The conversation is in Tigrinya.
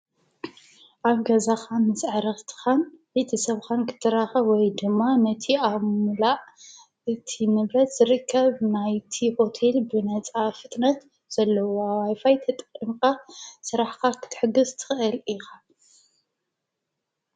ኣብ ገዛካ ምስ ኣዕርትካን ቤተሰብካን ክትራከብ ወይ ድማ ነቲ ኣብ ምምላእ እቲ ንብረት ዝርከብ ናይቲ ሆቴል ብነፃ ፍጥነት ዘለዎ ዋይ ፋይ ተጠቂምካ ስራኅካ ክትሕግዝ ትክእል ኢካ።